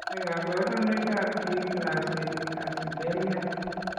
Nee kabarunoikab D glycericacidemia?